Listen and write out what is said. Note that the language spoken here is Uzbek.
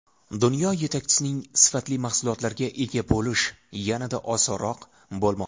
Dunyo yetakchisining sifatli mahsulotlariga ega bo‘lish yanada osonroq bo‘lmoqda.